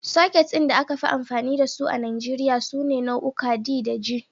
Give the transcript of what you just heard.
Soket ɗin da aka fi amfani da su a Nijeriya sune nau'uka D da G.